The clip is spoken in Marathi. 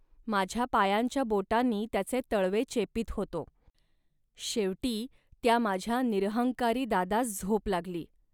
माझ्या पायांच्या बोटांनी त्याचे तळवे चेपीत होतो. शेवटी त्या माझ्या निरहंकारी दादास झोप लागली